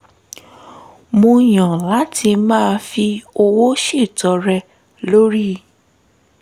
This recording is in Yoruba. mo yan lati maa fi owo ṣetọrẹ lorii